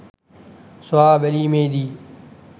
සොයා බැලීමේදී